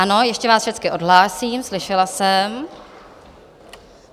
Ano, ještě vás všecky odhlásím, slyšela jsem.